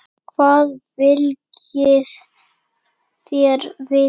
Hvað viljið þér vita?